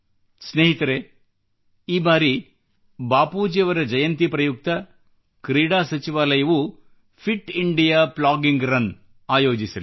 ಸ್ನೇಹಿತರೇ ಈ ಬಾರಿ ಬಾಪೂಜಿಯವರ ಜಯಂತಿ ಪ್ರಯುಕ್ತ ಕ್ರೀಡಾ ಸಚಿವಾಲಯವೂ ಫಿಟ್ ಇಂಡಿಯಾ ಪ್ಲಾಗಿಂಗ್ ರನ್ ಆಯೋಜಿಸಲಿದೆ